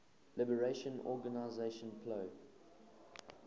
liberation organization plo